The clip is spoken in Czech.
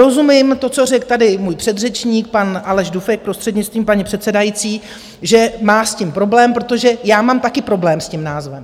Rozumím, to, co řekl tady můj předřečník, pan Aleš Dufek, prostřednictvím paní předsedající, že má s tím problém, protože já mám taky problém s tím názvem.